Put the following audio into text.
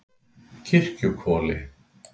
Kirkjuhvoli